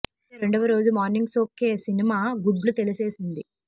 అయితే రెండవ రోజు మార్నింగ్ షో కే సినిమా గుడ్లు తేలేసేసింది